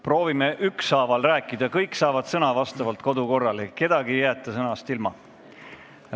Proovime ükshaaval rääkida, kõik saavad kodukorra järgi sõna, kedagi ei jäeta sõnast ilma.